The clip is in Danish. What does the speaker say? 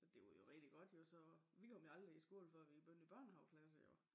Det var jo rigtig jo så vi kom jo aldrig i skole før vi begyndte i børnehaveklasse jo